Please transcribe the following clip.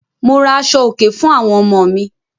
Mo ra àṣọ̀-òkè fún àwọn ọmọ mi.